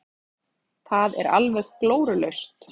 Það er alveg glórulaust.